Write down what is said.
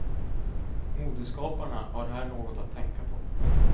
Modeskaparna har här något att tänka på.